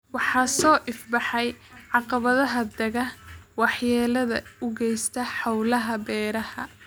Waxaa soo ifbaxaya caqabadaha daaqa waxyeellada u geysta hawlaha beeraha.